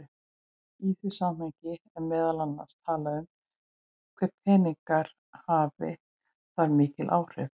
Í því samhengi er meðal annars talað um hve peningar hafi þar mikil áhrif.